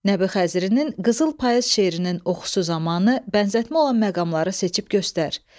Nəbi Xəzirinin qızıl payız şeirinin oxusu zamanı bənzətmə olan məqamları seçib göstər.